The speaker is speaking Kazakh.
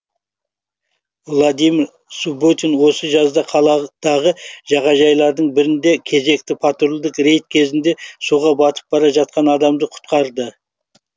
владимир субботин осы жазда қаладағы жағажайлардың бірінде кезекті патрульдік рейд кезінде суға батып бара жатқан адамды құтқарды